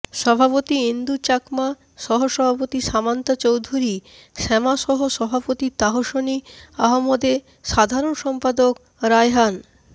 সভাপতি ইন্দু চাকমা সহ সভাপতি সামান্তা চৌধূরী শ্যামা সহ সভাপতি তাহসনি আহমদে সাধারণ সম্পাদক রায়হান